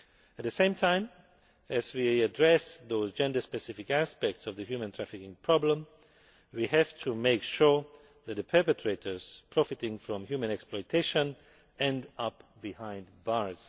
At the same time as we address those gender specific aspects of the human trafficking problem, we have to make sure that the perpetrators profiting from human exploitation end up behind bars.